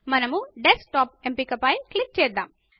మనము డెస్క్టాప్ ఎంపిక పైన క్లిక్ చేద్దాము